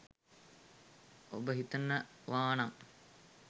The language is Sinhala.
ඔබ හිතනවානං